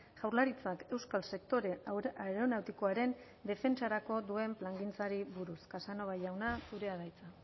jaurlaritzak euskal sektore aeronautikoaren defentsarako duen plangintzari buruz casanova jauna zurea da hitza